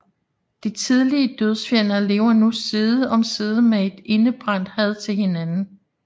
De tidligere dødsfjender lever nu side om side med et indebrændt had til hinanden